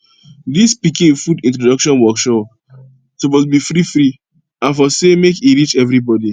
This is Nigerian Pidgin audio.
dis pikin food introduction workshops suppose be freefree and for say make e reach everybody